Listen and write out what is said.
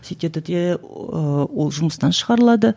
сөйтеді де ы ол жұмыстан шығарылады